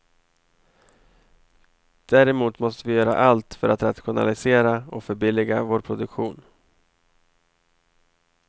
Däremot måste vi göra allt för att rationalisera och förbilliga vår produktion.